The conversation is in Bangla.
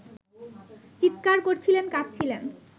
চিৎকার করছিলেন, কাঁদছিলেন